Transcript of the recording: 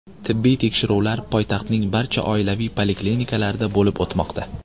Tibbiy tekshiruvlar poytaxtning barcha oilaviy poliklinikalarida bo‘lib o‘tmoqda.